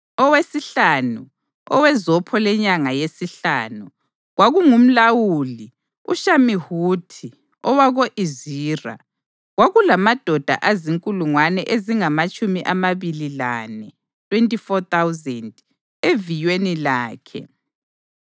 Owesihlanu, owezopho lenyanga yesihlanu, kwakungumlawuli uShamihuthi owako-Izira. Kwakulamadoda azinkulungwane ezingamatshumi amabili lane (24,000) eviyweni lakhe.